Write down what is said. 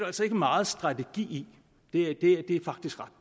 altså ikke meget strategi i det er faktisk ret